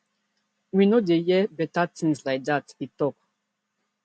we no dey too hear beta tins like dat e tok